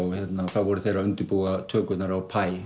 þá voru þeir að undirbúa tökurnar á